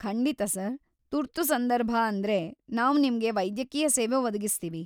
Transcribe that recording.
ಖಂಡಿತಾ ಸರ್‌, ತುರ್ತು ಸಂದರ್ಭ ಅಂದ್ರೆ ನಾವ್ ನಿಮ್ಗೆ ವೈದ್ಯಕೀಯ ಸೇವೆ ಒದಗಿಸ್ತೀವಿ.